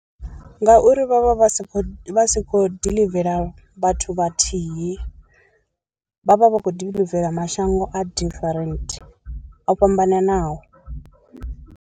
Ngauri vhavha vha si khou vha si kho diḽivela vhathu vhathihi, vhavha vha khou diḽivela mashango a different o fhambananaho.